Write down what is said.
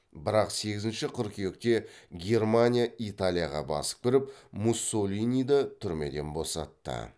бірақ сегізінші қыркүйекте германия италияға басып кіріп муссолиниді түрмеден босатты